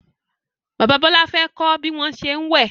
Bàbá Bola fè kò bí wón ṣe wẹ.